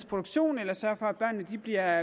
produktion eller sørge for at børnene bliver